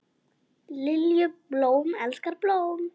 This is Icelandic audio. Lilju, blóm elskar blóm.